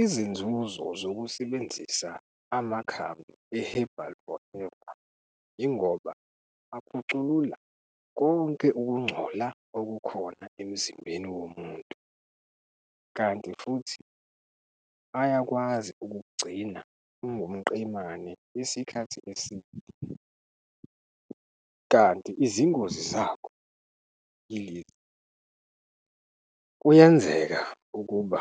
Izinzuzo zokusebenzisa amakhambi e-herbal forever, yingoba akhuculula konke ukungcola okukhona emzimbeni womuntu. Kanti futhi ayakwazi ukuk'gcina ungumqemane isikhathi eside. Kanti izingozi zakho yilezi, kuyenzeka ukuba